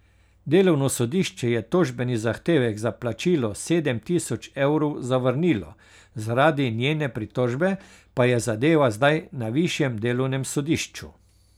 Delovno sodišče je tožbeni zahtevek za plačilo sedem tisoč evrov zavrnilo, zaradi njene pritožbe pa je zadeva zdaj na višjem delovnem sodišču.